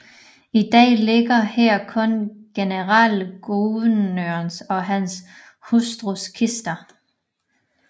I dag ligger her kun generalguvernørens og hans hustrus kister